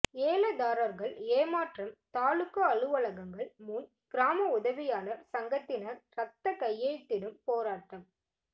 ஏலதாரர்கள் ஏமாற்றம் தாலுகா அலுவலகங்கள் முன் கிராம உதவியாளர் சங்கத்தினர் ரத்த கையெழுத்திடும் போராட்டம்